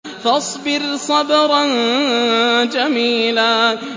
فَاصْبِرْ صَبْرًا جَمِيلًا